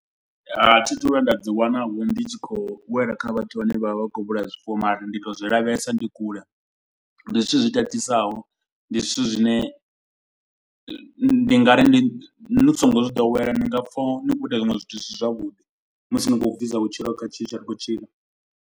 A thi thu vhuya nda ḓi wana vho ndi tshi khou wela kha vhathu vhane vha vha vha khou vhulaya zwifuwo. Mara ndi to u zwi lavhelesa ndi kule ndi zwithu zwi tatisaho. Ndi zwithu zwine ndi nga ri ni songo zwi ḓowela ni nga pfa nikho ita zwiṅwe zwithu zwi si zwavhuḓi. Musi ndi khou bvisa vhutshilo kha tshithu tsha ri khou tshila.